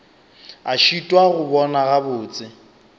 a šitwa go bona gabotse